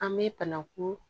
An bɛ banaku